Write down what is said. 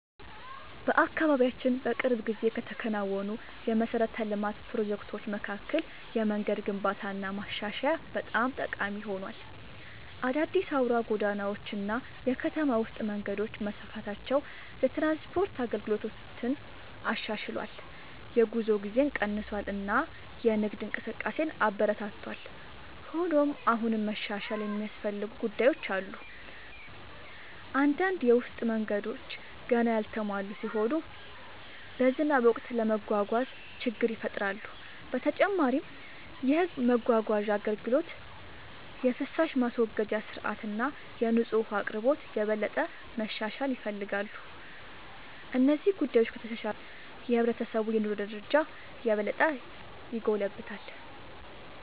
በአካባቢያችን በቅርብ ጊዜ ከተከናወኑ የመሠረተ ልማት ፕሮጀክቶች መካከል የመንገድ ግንባታና ማሻሻያ በጣም ጠቃሚ ሆኗል። አዳዲስ አውራ ጎዳናዎች እና የከተማ ውስጥ መንገዶች መስፋፋታቸው የትራንስፖርት አገልግሎትን አሻሽሏል፣ የጉዞ ጊዜን ቀንሷል እና የንግድ እንቅስቃሴን አበረታቷል። ሆኖም አሁንም መሻሻል የሚያስፈልጉ ጉዳዮች አሉ። አንዳንድ የውስጥ መንገዶች ገና ያልተሟሉ ሲሆኑ በዝናብ ወቅት ለመጓጓዝ ችግር ይፈጥራሉ። በተጨማሪም የሕዝብ ማጓጓዣ አገልግሎት፣ የፍሳሽ ማስወገጃ ሥርዓት እና የንጹህ ውኃ አቅርቦት የበለጠ መሻሻል ይፈልጋሉ። እነዚህ ጉዳዮች ከተሻሻሉ የሕብረተሰቡ የኑሮ ደረጃ የበለጠ ይጎለብታል።